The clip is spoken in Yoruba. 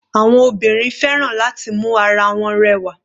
Àwọn obìnrin fẹ́ràn láti mu ara wọn rẹwà.